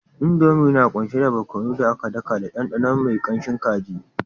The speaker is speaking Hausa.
Indomie na kunshe da barkonon da aka daka da ɗanɗano mai kanshin kaji